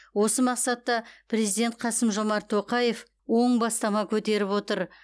осы мақсатта президент қасым жомарт тоқаев оң бастама көтеріп отыр